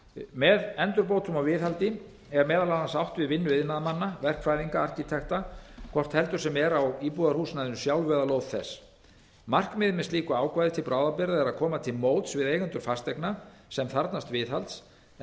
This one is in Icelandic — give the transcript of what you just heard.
með endurbótum og viðhaldi er meðal annars átt við vinnu iðnaðarmanna verkfræðinga og arkitekta hvort heldur sem er á íbúðarhúsnæðinu sjálfu eða lóð þess markmiðið með slíku ákvæði til bráðabirgða er að koma til móts við eigendur fasteigna sem þarfnast viðhalds en